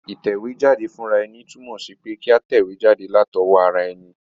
Ìtẹ̀wéjáde fúnraeni tùnmò sí pe kí a tẹ̀wé jáde látowó ara eni